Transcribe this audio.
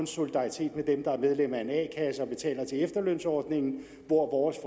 solidaritet med dem der er medlemmer af en a kasse og betaler til efterlønsordningen hvor vores